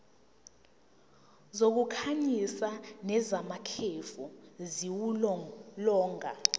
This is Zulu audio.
zokukhanyisa nezamakhefu ziwulolonga